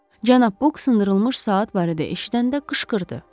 Cənab Buk sındırılmış saat barədə eşidəndə qışqırdı.